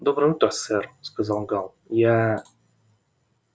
доброе утро сэр сказал гаал я